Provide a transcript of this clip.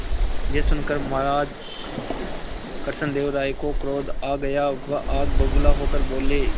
यह सुनकर महाराज कृष्णदेव राय को क्रोध आ गया वह आग बबूला होकर बोले